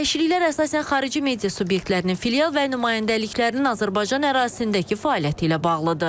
Dəyişikliklər əsasən xarici media subyektlərinin filial və nümayəndəliklərinin Azərbaycan ərazisindəki fəaliyyəti ilə bağlıdır.